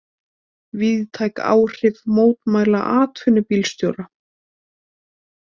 Víðtæk áhrif mótmæla atvinnubílstjóra